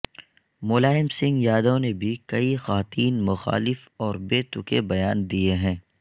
ملائم سنگھ یادو نے بھی کئی خواتین مخالف اور بے تکے بیان دیئے ہیں